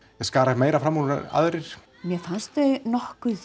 skara meira fram úr en aðrir mér fannst þau nokkuð